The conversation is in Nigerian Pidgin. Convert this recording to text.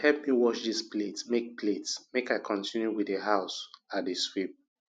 abeg help me wash dis plate make plate make i continue with the house i dey sweep